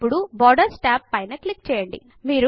ఇప్పుడు borders tab పైన click చేయండి